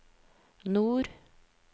nord